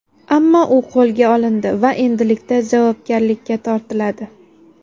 Ammo u qo‘lga olindi va endilikda javobgarlikka tortiladi.